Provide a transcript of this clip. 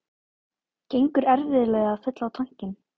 Gengur erfiðlega að fylla á tankinn